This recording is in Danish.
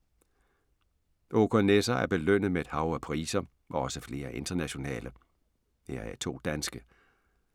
Håkan Nesser er belønnet med et hav af priser, også flere internationale, heraf to danske.